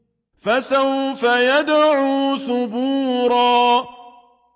فَسَوْفَ يَدْعُو ثُبُورًا